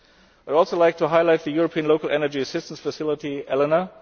I would also like to highlight the European Local Energy Assistance facility